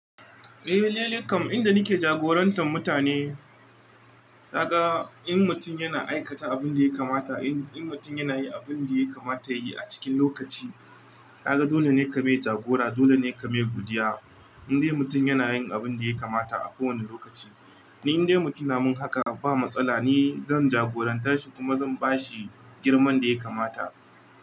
Eh, lallai kam inda nake jagorantar mutane, ka ga in mutum yana aikata abin da ya kamata, in mutum yana yi abin da ya kamata ya yi a cikin lokaci, ka ga dole ne ka mai jagora, dole ne ka mai godiya. In dai mutum yana yin abin da ya kamata a kowane lokaci, in dai mutum ya mun haka ba matsala, ni zan jagorantar shi kuma zan ba shi girman da ya kamata.